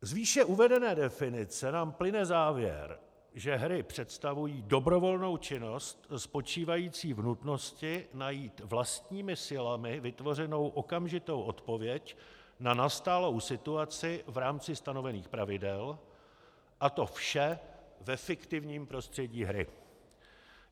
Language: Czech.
Z výše uvedené definice nám plyne závěr, že hry představují dobrovolnou činnost spočívající v nutnosti najít vlastními silami vytvořenou okamžitou odpověď na nastalou situaci v rámci stanovených pravidel, a to vše ve fiktivním prostředí hry.